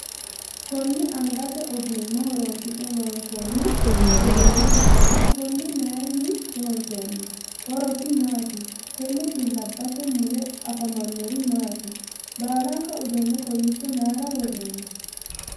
Kunni angate ogimma horoonsi'ne loonsoonni uduune ikanna konne mayinni loonsoonni? horosi maati? Tenne bilabate mule afamanori maati? Baalanka uduune kowicho mayira woroonni?